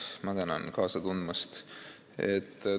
Ma tänan kaasa tundmast!